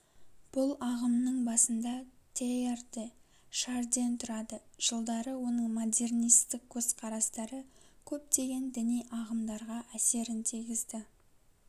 бұл ағымның басында тейяр де шарден тұрады жылдары оның модернистік көзқарастары көптеген діни ағымдарға әсерін тигізді